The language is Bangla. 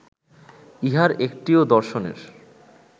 ইহার একটিও দর্শনের